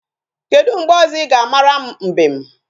Kedu mgbe ọzọ ị ga-amara m mbem?